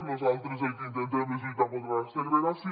nosaltres el que intentem és lluitar contra la segregació